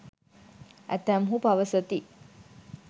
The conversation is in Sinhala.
ඇතැම්හු පවසති.